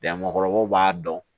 Ja mɔbaw b'a dɔn